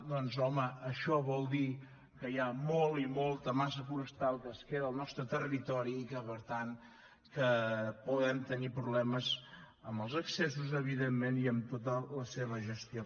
doncs home això vol dir que hi ha molta i molta massa forestal que es queda al nostre territori i per tant que podem tenir problemes amb els accessos evidentment i amb tota la seva gestió